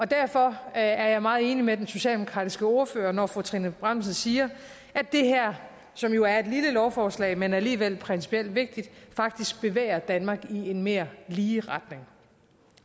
derfor er jeg meget enig med den socialdemokratiske ordfører når fru trine bramsen siger at det her som jo er et lille lovforslag men alligevel principielt vigtigt faktisk bevæger danmark i en mere lige retning